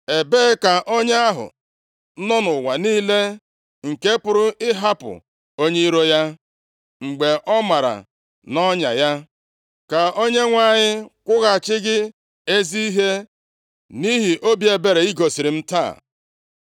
Ebee ka onye ahụ nọ nʼụwa niile, nke pụrụ ịhapụ onye iro ya mgbe ọ mara nʼọnya ya? Ka Onyenwe anyị kwụghachi gị ezi ihe nʼihi obi ebere i gosiri m taa.